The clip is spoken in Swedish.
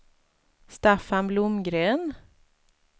Staffan Blomgren